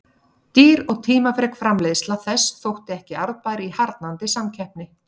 Dýr og tímafrek framleiðsla þess þótti ekki arðbær í harðnandi samkeppni.